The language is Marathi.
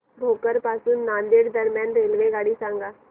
भोकर पासून नांदेड दरम्यान रेल्वेगाडी सांगा